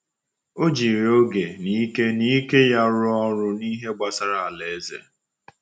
Ọ jiri oge na ike na ike ya rụọ ọrụ n’ihe gbasara Alaeze.